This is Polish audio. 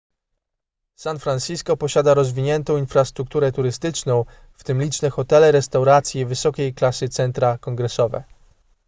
san francisco posiada rozwiniętą infrastrukturę turystyczną w tym liczne hotele restauracje i wysokiej klasy centra kongresowe